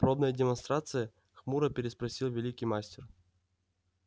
пробная демонстрация хмуро переспросил великий мастер